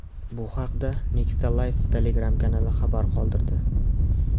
Bu haqda Nexta Live Telegram-kanali xabar qoldirdi.